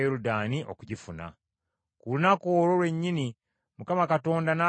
Ku lunaku olwo lwennyini Mukama Katonda n’agamba Musa bw’ati nti,